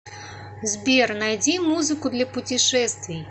сбер найди музыку для путешествий